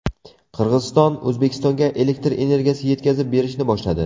Qirg‘iziston O‘zbekistonga elektr energiyasi yetkazib berishni boshladi.